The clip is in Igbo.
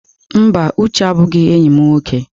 Mba, Uche abụghị enyi m nwoke.